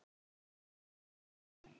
Þar til næst, pabbi minn.